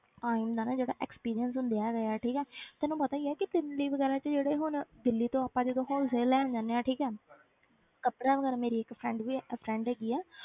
ਆਹੀ ਹੁੰਦਾ ਨਾ ਜਿਹੜਾ experience ਹੁੰਦੇ ਹੈਗੇ ਹੈ ਠੀਕ ਹੈ ਤੈਨੂੰ ਪਤਾ ਹੀ ਹੈ ਕਿ ਦਿੱਲੀ ਵਗ਼ੈਰਾ 'ਚ ਜਿਹੜੇ ਹੁਣ ਦਿੱਲੀ ਤੋਂ ਆਪਾਂ ਜਦੋਂ wholesale ਲੈਣ ਜਾਂਦੇ ਹਾਂ ਠੀਕ ਹੈ ਕੱਪੜਾ ਵਗ਼ੈਰਾ ਮੇਰੀ ਇੱਕ friend ਵੀ friend ਹੈਗੀ ਹੈ